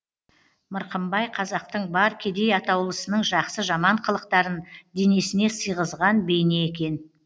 мырқымбай қазақтың бар кедей атаулысының жақсы жаман қылықтарын денесіне сыйғызған бейне екен